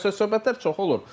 Yəni söhbətlər çox olur.